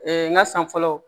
n ga san fɔlɔ